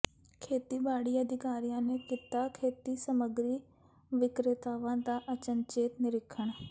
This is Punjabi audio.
ਖੇਤੀਬਾੜੀ ਅਧਿਕਾਰੀਆਂ ਨੇ ਕੀਤਾ ਖੇਤੀ ਸਮੱਗਰੀ ਵਿਕ੍ਰੇਤਾਵਾਂ ਦਾ ਅਚਨਚੇਤ ਨਿਰੀਖਣ